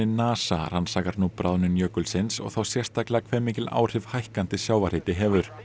NASA rannsakar nú bráðnun jökulsins og þá sérstaklega hve mikil áhrif hækkandi sjávarhiti hefur